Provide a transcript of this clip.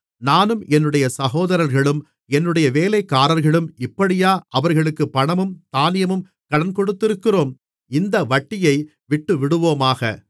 நானும் என்னுடைய சகோதரர்களும் என்னுடைய வேலைக்காரர்களும் இப்படியா அவர்களுக்குப் பணமும் தானியமும் கடன் கொடுத்திருக்கிறோம் இந்த வட்டியை விட்டுவிடுவோமாக